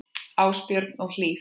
Ásbjörn og Hlíf.